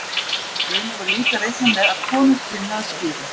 Raunar var líka reiknað með að konur kynnu að skíra.